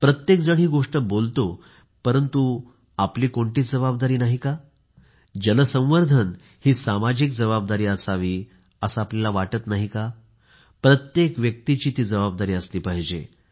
प्रत्येकजण ही गोष्ट बोलतो परंतु आपली कोणतीच जबाबदारी नाही का जलसंवर्धन ही सामाजिक जबाबदारी असावी असं आपल्याला वाटत नाही का प्रत्येक व्यक्तीची जबाबदारी असली पाहिजे